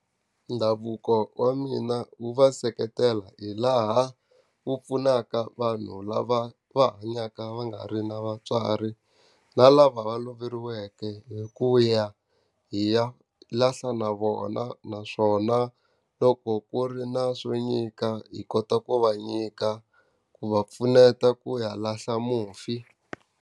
Ndhavuko wa mina wu va seketela hi laha wu pfunaka vanhu lava va hanyaka va nga ri na vatswari, na lava va loveriweke hi ku ya hi ya lahla na vona. Naswona loko ku ri na swo nyika hi kota ku va nyika, ku va pfuneta ku ya lahla mufi.